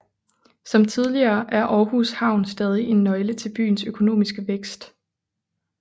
Som tidligere er Aarhus Havn stadig en nøgle til byens økonomiske vækst